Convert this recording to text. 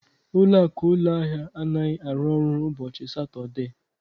Ụlọakụ ụlọahịa anaghị arụ ọrụ ụbọchị Satọdee